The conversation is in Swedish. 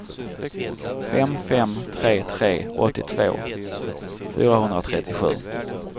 fem fem tre tre åttiotvå fyrahundratrettiosju